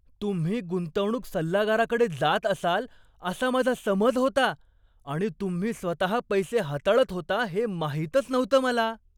तुम्ही गुंतवणूक सल्लागाराकडे जात असाल असा माझा समज होता आणि तुम्ही स्वतः पैसे हाताळत होता हे माहीतच नव्हतं मला.